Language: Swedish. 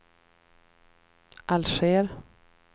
Alger